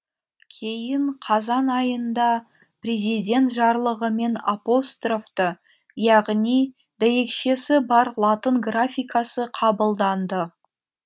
кейін қазан айында президент жарлығымен апострофты яғни дәйекшесі бар латын графикасы қабылданды